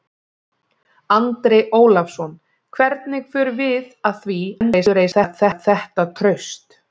Andri Ólafsson: Hvernig förum við að því að endurreisa þetta traust?